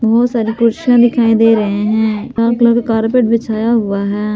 बहोत सारे कुर्सियाँ दिखाई दे रहें हैं लाल कलर का कारपेट बिछाया हुआ है।